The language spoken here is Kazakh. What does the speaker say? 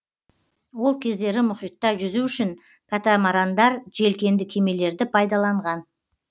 ол кездері мұхитта жүзу үшін катамарандар желкенді кемелерді пайдаланған